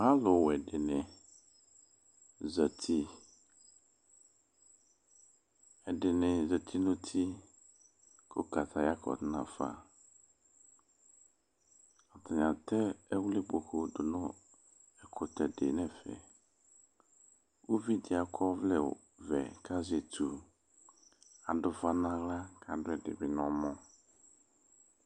Alʋwɛ dɩnɩ zati Ɛdɩnɩ zati nʋ uti kʋ kataya kɔdʋ nafa Atanɩ atɛ ɛwlɩkpoku dʋ nʋ ɛkʋtɛ dɩ nʋ ɛfɛ Uvi dɩ akɔ ɔvlɛvɛ kʋ azɛ etu Adʋ ʋfa nʋ aɣla kʋ adʋ ɛdɩ bɩ nʋ ɔmɔ